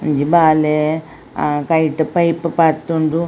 ಒಂಜಿ ಬಾಲೆ a kite pipe ಪಾರ್ದುಂಡು.